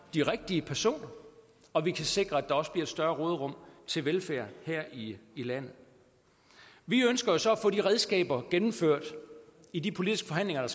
de rigtige personer og vi kan sikre at der også bliver større råderum til velfærd her i landet vi ønsker så at få de redskaber gennemført i de politiske forhandlinger der